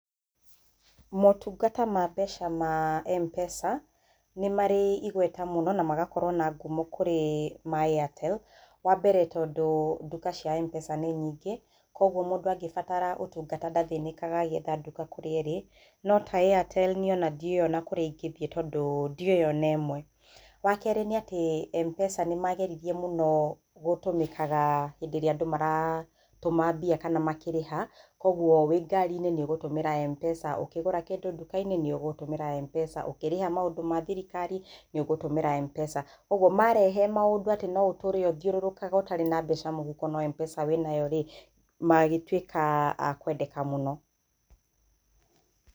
Motungata ma mbeca ma M-Pesa, nĩ marĩ igweta muno na magakorwo na ngumo kũrĩ ma Airtel, wa mbere tondũ nduka cia M-Pesa nĩ nyingĩ, koguo mũndu angĩbatara ũtungata ndathĩnĩkaga agĩetha nduka kũrĩa ĩrĩ. No ta Airtel niĩ ona ndiũĩ ona kũrĩa ingĩthiĩ tondu ndiũĩ ona ĩmwe. Wa kerĩ nĩ atĩ M-Pesa nĩmageririe muno gũtũmĩkaga hĩndĩ ĩrĩa andũ maratũma mbia kana makĩrĩha koguo wĩ ngari-inĩ nĩ ũgũtumĩra M-Pesa, ũkĩgũra kĩndũ nduka-inĩ nĩ ũgũtũmĩra M-Pesa, ũkĩrĩha maũndũ ma thirikari nĩ ũgũtũmĩra M-Pesa. Ũguo, marehe maũndũ atĩ no ũtũre ũthiũrũrũkaga ũtarĩ na mbeca mũhuko no M-Pesa wĩnayo rĩ, magĩtuĩka akwendeka muno.